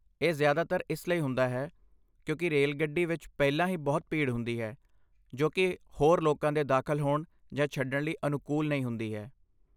ਇਹ ਜਿਆਦਾਤਰ ਇਸ ਲਈ ਹੁੰਦਾ ਹੈ ਕਿਉਂਕਿ ਰੇਲਗੱਡੀ ਵਿੱਚ ਪਹਿਲਾਂ ਹੀ ਬਹੁਤ ਭੀੜ ਹੁੰਦੀ ਹੈ ਜੋ ਕਿ ਹੋਰ ਲੋਕਾਂ ਦੇ ਦਾਖਲ ਹੋਣ ਜਾਂ ਛੱਡਣ ਲਈ ਅਨੁਕੂਲ ਨਹੀਂ ਹੁੰਦੀ ਹੈ।